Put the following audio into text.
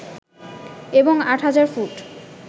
এবং ৮০০০ ফুট